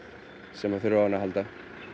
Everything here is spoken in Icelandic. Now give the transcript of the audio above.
sem að þurfa á henni að halda